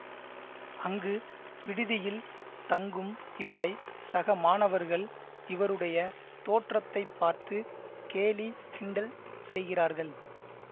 அங்கு விடுதியில் தங்கும் இவரை சக மாணவர்கள் இவருடைய தோற்றத்தை பார்த்து கேலிகிண்டல் செய்கிறார்கள்